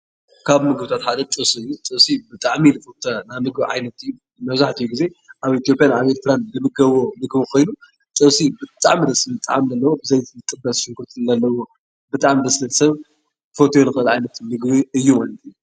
ካብ ምግብታት ሓደ ጥብሲ እዩ፡፡ ጥብሲ ብጣዕሚ ዝፍተው ናይ ምግቢ ዓይነት እዩ፡፡ መብዛሕትኡ ጊዜ ኣብ ኢትዮጵያን ኣብ ኤሪትራን ዝምገብዎ ምግቢ ኮይኑ ጥብሲ ብጣዕሚ ደስ ዝብል ጣዕሚ ዘለዎ ብዘይቲ ዝጥበስ ሽጉርቲ ዝመልአ ዘለዎ ብጣዕሚ ሰብ ክፈትዎ ዝኽእል ዓይነት ምግቢ እዩ ማለት እዩ፡፡